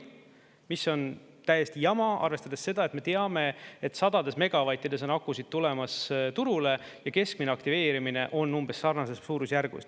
Mis on täiesti jama, arvestades seda, et me teame, et sadades megavattides on akusid tulemas turule ja keskmine aktiveerimine on umbes sarnases suurusjärgus.